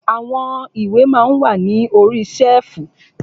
Àwọn ìwé ma ń wà ní orí ṣẹ́ẹ̀fù.